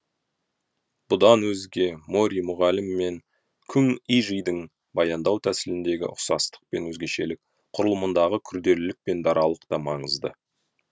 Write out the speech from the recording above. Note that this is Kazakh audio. бұдан өзге мори мұғалім мен күң ижидің баяндау тәсіліндегі ұқсастық пен өзгешелік құрылымындағы күрделілік пен даралық та маңызды